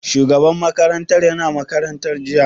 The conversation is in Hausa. Shugaban makarantar ya na makaranta jiya?